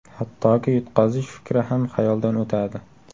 Hattoki, yutqazish fikri ham xayoldan o‘tadi.